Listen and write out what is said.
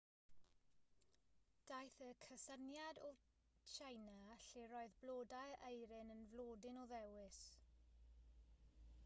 daeth y cysyniad o tsieina lle roedd blodau eirin yn flodyn o ddewis